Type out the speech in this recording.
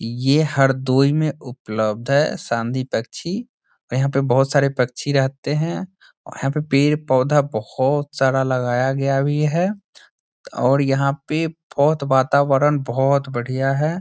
ये हरदोई में उपलब्ध है संधि पच्छी और यहाँ पे बहोत सारे पच्छी रहते हैं और यहाँ पे पेड़-पौधा बहोत सारा लगाया गया भी है और यहाँ पे बहोत वातावरण बहोत बढ़िया है।